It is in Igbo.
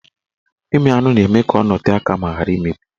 Ịmị anụ na-eme ka ọ nọtee aka ma ghara imebi